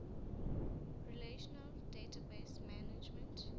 relational database management